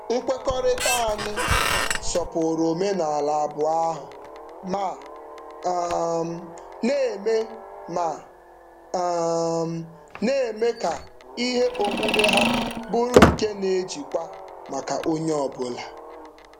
Nkwekọrịta anyị sọpụrụ omenaala abụọ ahụ ma um na-eme ma um na-eme ka ihe omume ha bụrụ nke na-ejikwa maka onye ọbụla.